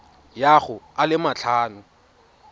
ya go a le matlhano